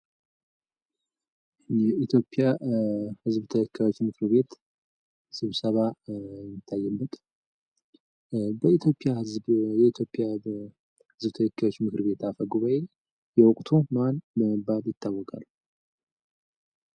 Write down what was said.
የኢትዮጵያ ህዝብ ተወካዮች ምክር ቤት ስብሰባ ይታያል። በኢትዮጵያ ህዝብ ተወካዮች ምክር ቤት አፈጉባኤ የወቅቱ ማን በመባል ይታወቃሉ?